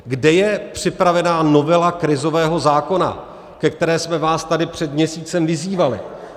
Kde je připravena novela krizového zákona, ke které jsme vás tady před měsícem vyzývali?